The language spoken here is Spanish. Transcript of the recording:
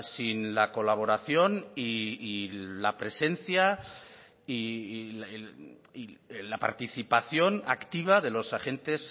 sin la colaboración y la presencia y la participación activa de los agentes